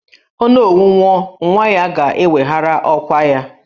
Onowu nwụọ, nwa ya ga-eweghara ọkwà ya